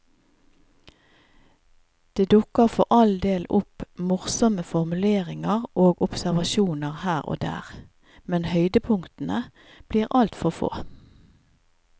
Det dukker for all del opp morsomme formuleringer og observasjoner her og der, men høydepunktene blir altfor få.